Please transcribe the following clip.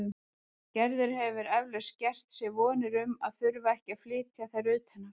Gerður hefur eflaust gert sér vonir um að þurfa ekki að flytja þær utan aftur.